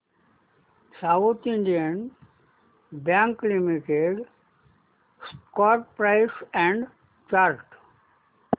south Indian bank limited stock price and chart